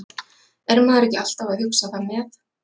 Er maður ekki alltaf að hugsa það með?